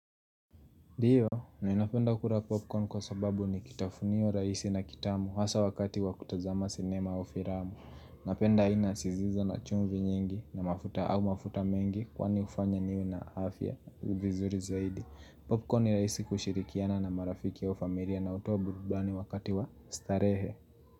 Ndio, ni napenda kula popcorn kwa sababu ni kitafunio raisi na kitamu hasa wakati wa kutazama sinema au filamu Napenda aina zisizo na chumvi nyingi na mafuta au mafuta mengi kwa ni hufanya niwe na afya vizuri zaidi Popcorn ni rahisi kushirikiana na marafiki wa familia na hutoa burudani wakati wa starehe.